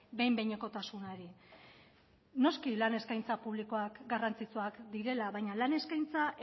behin behinekotasunari noski lan eskaintza publikoak garrantzitsuak direla baina lan eskaintza